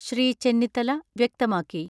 ശ്രീ ചെന്നിത്തല വ്യക്തമാക്കി.